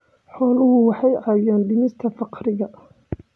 Xooluhu waxay caawiyaan dhimista faqriga.